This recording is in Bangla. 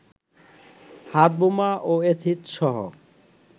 হাতবোমা ও এসিডসহ